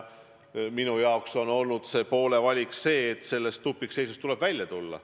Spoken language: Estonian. Minu jaoks tähendab see poole valik seisukohta, et sellest tupikseisust tuleb välja tulla.